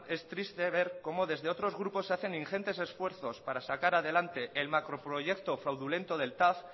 es triste ver cómo desde otros grupos hacen ingentes esfuerzos para sacar adelante el macroproyecto fraudulento del tav